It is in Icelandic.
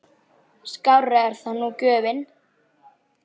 Skárri er það nú gjöfin!